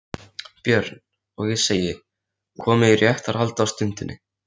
BJÖRN: Og ég segi: Komið í réttarhald á stundinni